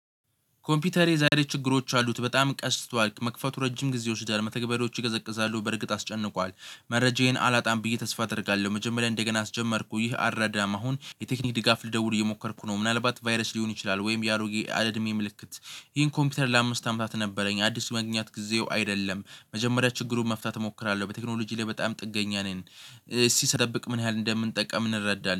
ኮምፒውተሬ ዛሬ ችግሮች አሉት በጣም ቀስ ብሏል መክፈቱ ረጅም ጊዜ ይወስዳል መተግበዶች ይቀዘቅዛሉ በርግጥ አስጨንቋል መረጃዬን አላጣም ብዬ ተስፋ አደርጋለሁ። መጀመሪያ እንደገና አስጀመርኩ ይህ አራዳማ አሁን የቴክኒክ ድጋፍ ልደውል እየሞከርኩ ነው። ምናልባት ቫይረስ ሊሆን ይችላል ወይም የአሮጌ አድሜ ምልክት። ይህን ኮምፒውተር ለአምስት አመታት ነበረኝ አዲስ መግኘት ጊዜው አይደለም መጀመሪያ ችግሩን መፍታት እሞክራለሁ። በቴክኖሎጂ ላይ በጣም ጥገኛ ነን። ሲሰደብቅ ምን ያህል እንደምንጠቀም እንረዳለን